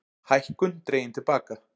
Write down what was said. Hækkun dregin til baka